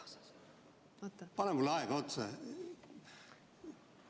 pane mulle aega otsa!